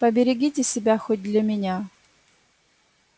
поберегите себя хоть для меня